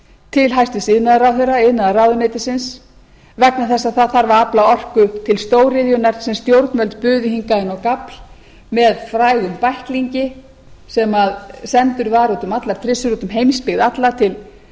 til hæstvirts iðnaðarráðherra iðnaðarráðuneytisins vegna þess það þarf að afla orku til stóriðjunnar sem stjórnvöld buðu hingað inn á gafl með frægum bæklingi sem sendur var út um allar trissur út um heimsbyggð alla til